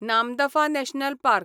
Namdapha national park